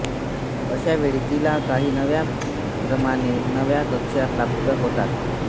अशावेळी तिला काही नवी परिमाणे नव्या कक्षा प्राप्त होतात